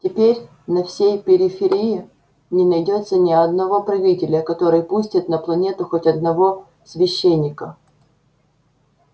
теперь на всей периферии не найдётся ни одного правителя который пустит на планету хоть одного священника